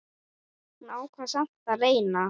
Hún ákvað samt að reyna.